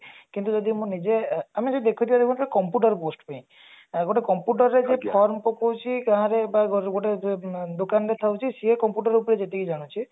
କିନ୍ତୁ ଯଦି ମୁଁ ନିଜେ ଅ ଆମେ ବି ଦେଖୁଛେ computer post ପାଇଁ ଯଦି computer ରେ ଯଦି form ପକୋଉଛେ ଦୋକାନରେ ଥାଉଛି ସିଏ computer ଉପରେ ଯେତିକି ଜାଣିଛି